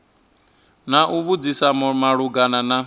na u vhudzisa malugana na